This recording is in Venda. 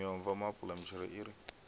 miomva maapula mitshelo i re